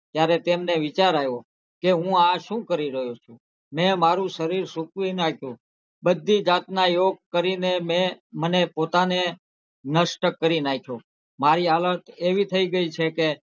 ત્યારે તેમને વિચાર આવ્યો કે હું આ શું કરી રહ્યો છું? મેં મારું શરીર સુકવી નાખ્યું બધી જાતના યોગ કરીને મેં મને પોતાને નષ્ટ કરી નાખ્યો મારી હાલત એવી થઇ ગઈ છે કે,